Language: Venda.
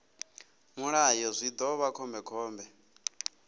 mulayo zwi ḓo vha khombekhombe